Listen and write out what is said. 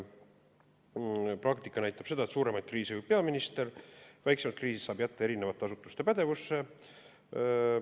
Praktika näitab seda, et suuremaid kriise juhib peaminister, väiksemad kriisid saab jätta eri asutuste pädevusse.